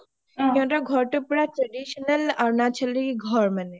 সিহতৰ ঘৰটো পুৰা traditional আৰুণাচলি ঘৰ মানে